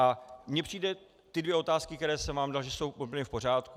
A mně přijdou ty dvě otázky, které jsem vám dal, že jsou úplně v pořádku.